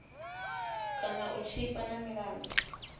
kana u tshipa na milandu